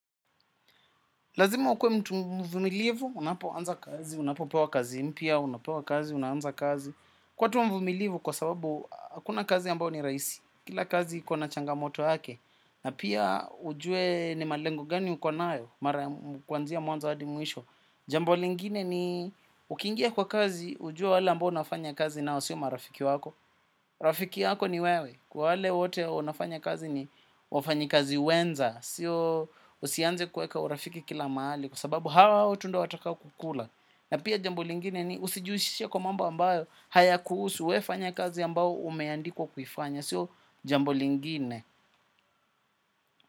Lazima ukwe mtu mvumilivu, unapoanza kazi, unapo pewa kazi mpya, unapo pewa kazi, unaanza kazi. Kuwa tu mvumilivu kwa sababu, hakuna kazi ambao ni rahisi. Kila kazi iko na changamoto yake, na pia ujue ni malengo gani uko nayo, mara kuanzia mwanzo hadi mwisho. Jambo lingine ni, ukiingia kwa kazi, ujue wale ambao unafanya kazi nao, siyo marafiki wako. Rafiki yako ni wewe, kwa wale wote wanafanya kazi ni wafanyi kazi wenza. Sio usianze kuweka urafiki kila mahali kwa sababu hao tu ndo watakao kukula. Na pia jambo lingine ni usijihushishe kwa mambo ambayo hayakuhusu we fanya kazi ambayo umeandiko kuifanya. Sio jambo lingine.